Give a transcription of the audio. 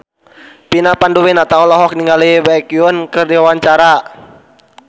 Vina Panduwinata olohok ningali Baekhyun keur diwawancara